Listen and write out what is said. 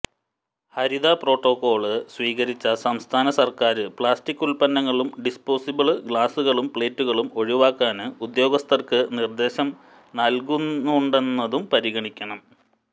ഹരിത protocol സ്വീകരിച്ച സംസ്ഥാന സര്ക്കാര് പ്ലാസ്റ്റിക് ഉല്പന്നങ്ങളും ഡിസ്പോസിബിള് ഗ്ലാസുകളും പ്ലേറ്റുകളും ഒഴിവാക്കാന് ഉദ്യോഗസ്ഥര്ക്ക് നിര്ദേശം നല്കുന്നുണ്ടെന്നതും പരിഗണിക്കണം